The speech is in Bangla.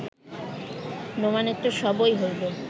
নোমানের তো সবই হইল